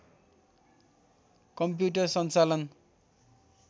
commuter सञ्चालन